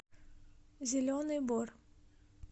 зеленый бор